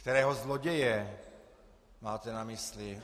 Kterého zloděje máte na mysli?